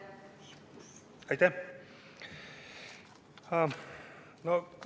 Aitäh!